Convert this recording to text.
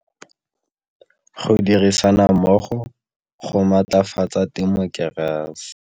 Go dirisana mmogo go matlafatsa temokerasi.